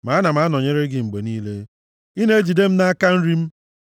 Ma ana m anọnyere gị mgbe niile; ị na-ejide m nʼaka nri m.